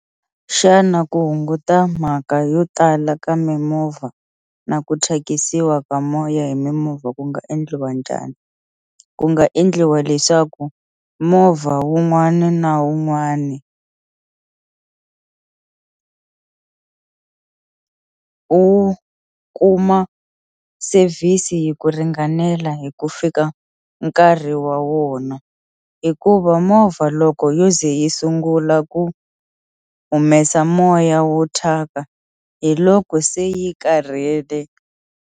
Xana ku hunguta mhaka yo tala ka mimovha na ku thyakisiwa ka moya hi mimovha ku nga endliwa njhani ku nga endliwa leswaku movha wun'wani na wun'wani wu kuma service yi ku ringanela hi ku fika nkarhi wa wona hikuva movha loko yo ze yi sungula ku humesa moya wo thyaka hi loko se yi karhele.